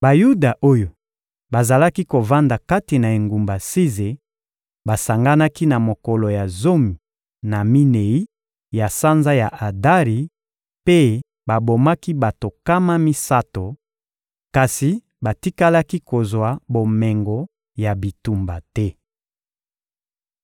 Bayuda oyo bazalaki kovanda kati na engumba Size basanganaki na mokolo ya zomi na minei, ya sanza ya Adari, mpe bobomaki bato nkama misato; kasi batikalaki kozwa bomengo ya bitumba te.